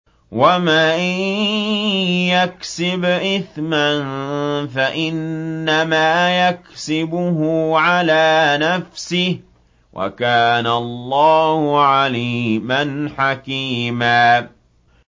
وَمَن يَكْسِبْ إِثْمًا فَإِنَّمَا يَكْسِبُهُ عَلَىٰ نَفْسِهِ ۚ وَكَانَ اللَّهُ عَلِيمًا حَكِيمًا